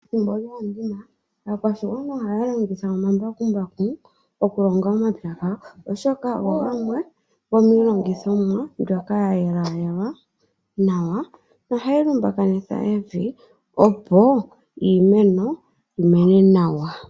Ethimbo lyoondima aakwashigwana ohaya kongitha omambakumbaku okulonga omapya gawo, oshoka ogo gamwe gomiilongithomwa mbyoka ya yelayelwa nawa nohayi lumbakanitha evi opo iimeno yimene nawa